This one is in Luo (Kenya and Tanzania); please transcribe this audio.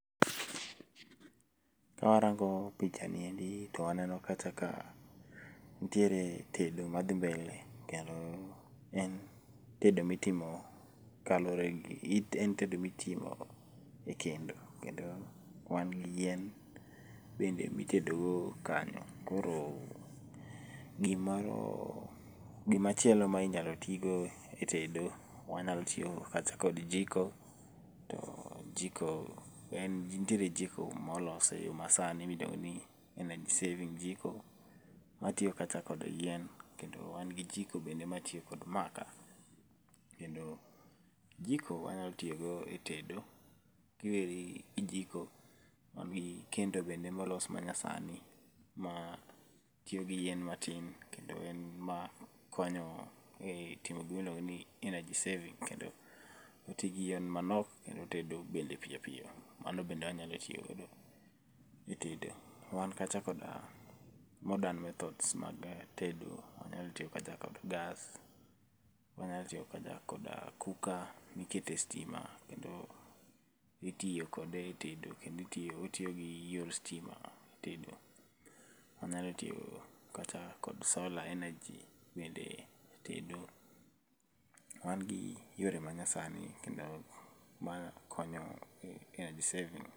Karango picha ni endi to aneno kacha ka nitiere tedo madhi mbele kendo en tedo mitimo kaluore gi, en tedo mitimo ekendo. Kendo wangi yien bende mi tedogo kanyo. Koroo gimoroo gima chielo minyalo ti go e tedo, wanyalo tiyogo kacha kod jiko too jiko en nitiere jiko molose eyoo masani midewoni energy saving jiko watiyo kacha kod yien kendo wan gi jiko bende matiyo kod makaa. Kendo jiko wanyalo tiyogo e tedo ki werigi jiko wan gi kendo bende molos manyasani matiyo gi yien matin kendo en ma konyowa e timo gima iluongo ni energy saving kendo otigi yien manok kendo otedo piyo piyo mano bende wanyalo tiyo godo e tedo. Wan kacha koda modern methods mag tedo, wanyalo tiyo kacha kod gas wanyalo tiyo kacha koda cooker miketo e stima kendo itiyo kode etedo kendo otiyogi eyor stima etedo. wanayalo tiyo kacha kod solar energy bende tedo magi yore manyasani kendo ma konyo energy saving.